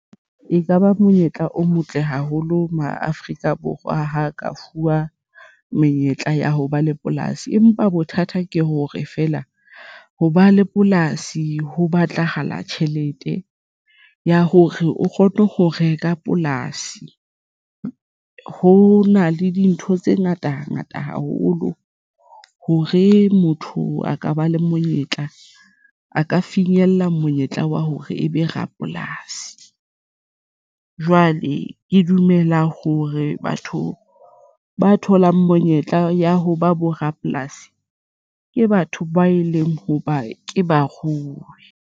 Ekaba monyetla o motle haholo maAfrika Borwa ha ka fuwa menyetla ya ho ba le polasi, empa bothata ke hore feela ho ba le polasi ho batlahala tjhelete ya hore o kgone ho reka polasi. Ho na le dintho tse ngata ngata haholo hore motho a ka ba le monyetla a ka finyella monyetla wa hore ebe rapolasi. Jwale ke dumela hore batho ba tholang monyetla ya hoba bo rapolasi ke batho ba e leng ho ba ke ba rui.